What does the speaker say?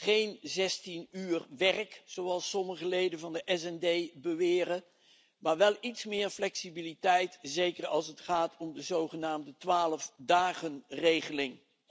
Geen 16 uur werk, zoals sommige leden van de SD Fractie beweren, maar wel iets meer flexibiliteit, zeker als het gaat om de zogenaamde 12 dagenregeling.